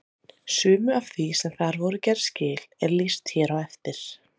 Sumu af því sem þar voru gerð skil er lýst hér á eftir.